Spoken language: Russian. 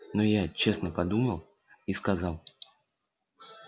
но я честно подумал и сказал